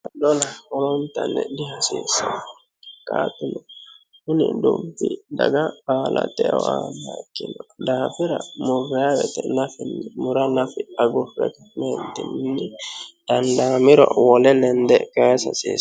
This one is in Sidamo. adona holontanni dihasiissan qaatilo kuni dubbi daga baala xeo aanna ikkino daafira murraarete lafinni mura lafi agurremeddinmini dandaamiro wole lende kayisa hasiise